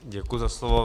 Děkuji za slovo.